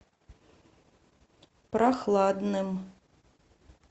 прохладным